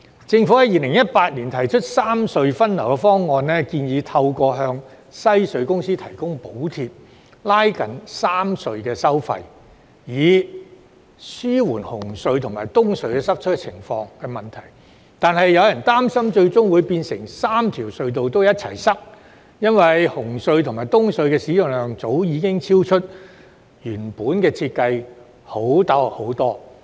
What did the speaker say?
政府在2018年提出三隧分流方案，建議透過向香港西區隧道有限公司提供補貼．拉近3條隧道的收費，以紓緩紅隧及東區海底隧道的塞車問題，但有人擔心最終會變成3條隧道同時出現擠塞，因為紅隧及東隧的使用量早已遠遠超出原來的設計容量。